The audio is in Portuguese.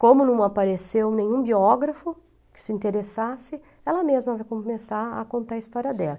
Como não apareceu nenhum biógrafo que se interessasse, ela mesma vai começar a contar a história dela.